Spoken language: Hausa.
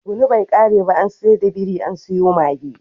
Tsuguno bai kare ba an sayar da biri an sayo mage.